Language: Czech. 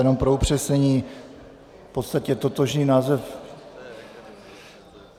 Jenom pro upřesnění, v podstatě totožný název...